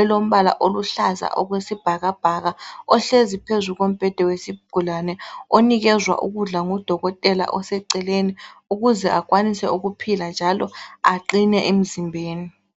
elombala oluhlaza okwesibhakabhaka ohlezi phezu kombheda wezigulane onikezwa ukudla ngudokotela oseceleni ukuze akwanise ukuphila njalo aqine emzimbeni.